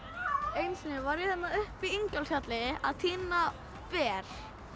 einu sinni vorum við uppi í Ingólfsfjalli að tína ber